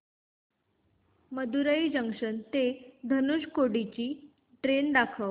Madurai junction ते धनुषकोडी ची train दाखव